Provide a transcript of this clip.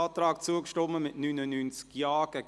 Antrag EVP [Wenger, Spiez];